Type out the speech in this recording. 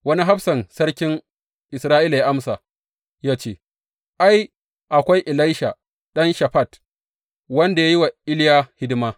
Wani hafsan sarkin Isra’ila ya amsa ya ce, Ai, akwai Elisha ɗan Shafat, wanda dā ya yi wa Iliya hidima.